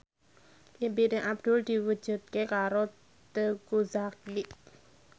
impine Abdul diwujudke karo Teuku Zacky